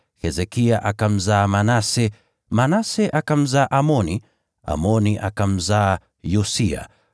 Hezekia akamzaa Manase, Manase akamzaa Amoni, Amoni akamzaa Yosia,